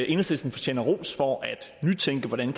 enhedslisten fortjener ros for at nytænke hvordan